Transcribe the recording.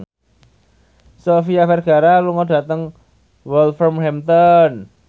Sofia Vergara lunga dhateng Wolverhampton